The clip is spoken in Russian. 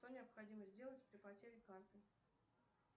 что необходимо сделать при потере карты